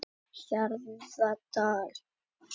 Hjarðardal